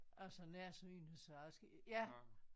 Jeg er så nærsynet så jeg skal ja